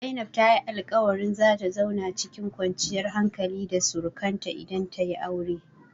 Zainab ta yi alƙawarin zata zauna cikin kwanciyar hankali da surakanta idan tayi aure.